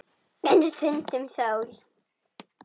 En stundum sól.